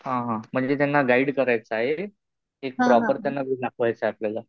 हा हा. म्हणजे त्यांना गाईड करायचं आहे कि प्रॉपर त्यांना दाखवायचंय आपल्याला?